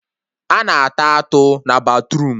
A na-ata atụ na batruum